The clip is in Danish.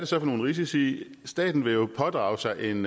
så for nogle risici staten vil jo pådrage sig en